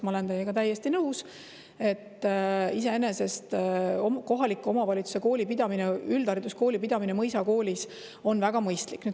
Ma olen teiega täiesti nõus, et iseenesest on kohaliku omavalitsuse kooli pidamine, üldhariduskooli pidamine mõisakoolis väga mõistlik.